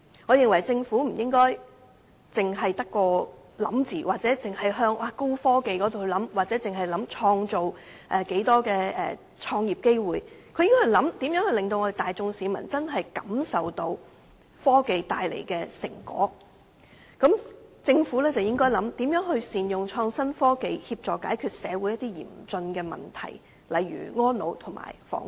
我認為政府不應該只是空想，只針對高科技或只考慮創造多少創業機會，而應該想想如何令市民感受到科技帶來的成果，政府應該想想如何善用創新科技，協助解決社會嚴峻的問題，例如安老及房屋。